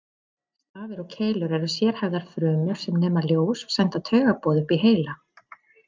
Stafir og keilur eru sérhæfðar frumur sem nema ljós og senda taugaboð upp í heila.